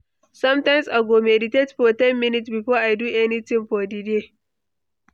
Sometimes, I go meditate for ten minutes before I do anything for the day.